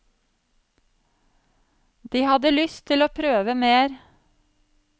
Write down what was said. De hadde lyst til å prøve mer.